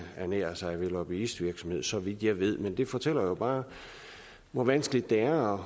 ernærer sig ved lobbyisme så vidt jeg ved men det fortæller jo bare hvor vanskeligt det er